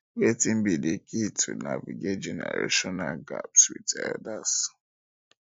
wetin be di key to navigate generational gaps with elders